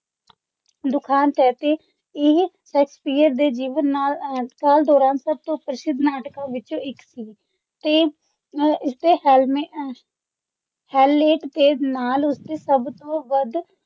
ਦੁਖਾਂਤ ਹੈ। ਇਹ ਸ਼ੇਕਸਪੀਅਰ ਦੇ ਜੀਵਨ ਨਾਲ ਅਹ ਕਾਲ ਦੌਰਾਨ ਸਭ ਤੋਂ ਪ੍ਰਸਿੱਧ ਨਾਟਕਾਂ ਵਿੱਚੋਂ ਇੱਕ ਸੀ ਤੇ ਇਸਦੇ ਹੈਲਮਟ ਹੈਮਲੇਟ ਦੇ ਨਾਲ, ਉਸਦੇ ਸਭ ਤੋਂ ਵੱਧ